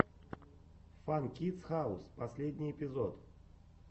фан кидс хаус последний эпизод